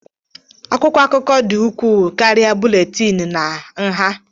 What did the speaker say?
akwụkwọ akụkọ dị ukwuu karịa búlétin nah nha